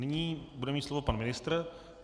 Nyní bude mít slovo pan ministr.